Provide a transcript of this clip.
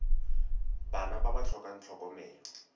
bana ba ba tlhokang tlhokomelo